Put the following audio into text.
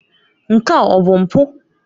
Nke a ọ bụ mpụ?